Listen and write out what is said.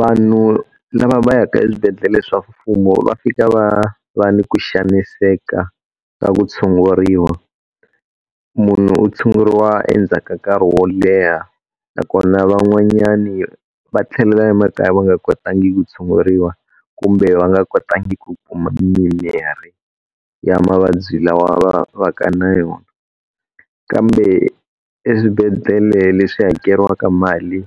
Vanhu lava va yaka eswibedhlele swa mfumo va fika va va ni ku xaniseka ka ku tshunguriwa. Munhu u tshunguriwa endzhaku ka nkarhi wo leha nakona van'wanyani va tlhelela emakaya va nga kotangi ku tshunguriwa kumbe va nga kotangi ku mimiri ya mavabyi lawa va va ka na yona. Kambe eswibedhlele leswi hakeriwaka mali,